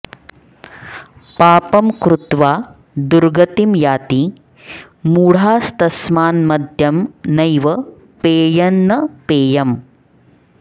पापं कृत्वा दुर्गतिं याति मूढास्तस्मान्मद्यं नैव पेयं न पेयम्